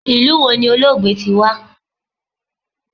Ilu wo ni Olóògbé ti wa?